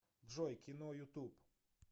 джой кино ютуб